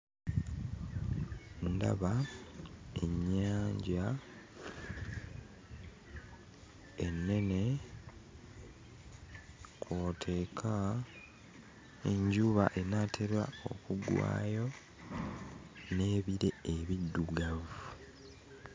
Ndaba ennyanja ennene kw'oteeka enjuba enaatera okugwayo n'ebire ebiddugavu.